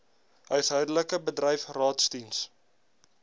huishoudelik bedryf raadsdiens